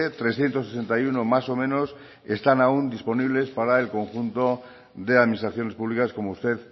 trescientos sesenta y uno más o menos están aun disponibles para el conjunto de administraciones públicas como usted